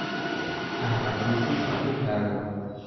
Amach isis akoi karon